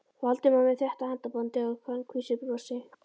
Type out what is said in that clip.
Valdimari með þéttu handabandi og kankvísu brosi.